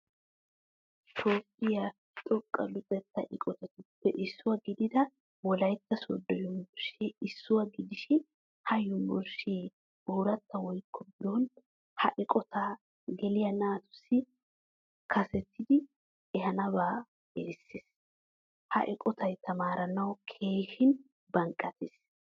Toophphiyaa xoqqa luxetta eqqotatuppe issuwaa gidida wolaytta sodo yunvurshee issuwaa gidishin ha yunvurshe ooratta woykko biron ha eqqotta geeliyaa naatussi kasettidiyiidi ehanaba erissees. Ha eqqottay tamaaranawu keehin baqnqattees.